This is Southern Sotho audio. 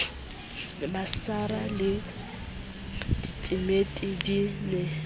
masara le ditimiti di ne